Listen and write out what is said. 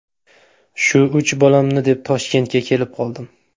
Shu uch bolamni deb Toshkentga kelib qoldim.